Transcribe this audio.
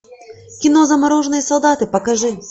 кино замороженные солдаты покажи